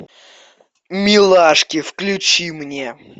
милашки включи мне